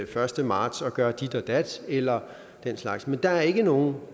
første marts at gøre dit og dat eller den slags men der er ikke nogen